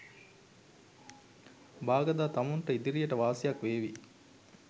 බාගදා තමුන්ට ඉදිරියට වාසියක් වේවි.